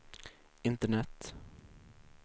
internet